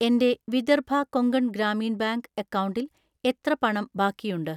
എൻ്റെ വിദർഭ കൊങ്കൺ ഗ്രാമീൺ ബാങ്ക് അക്കൗണ്ടിൽ എത്ര പണം ബാക്കിയുണ്ട്?